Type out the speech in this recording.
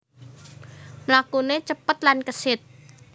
Mlakuné cepet lan kesit